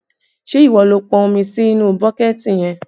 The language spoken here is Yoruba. Ṣé ìwọ ló pọn omi sí inú bọ́kẹ̀ẹ̀tì yẹn?